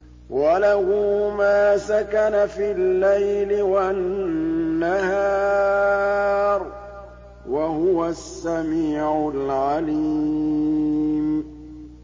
۞ وَلَهُ مَا سَكَنَ فِي اللَّيْلِ وَالنَّهَارِ ۚ وَهُوَ السَّمِيعُ الْعَلِيمُ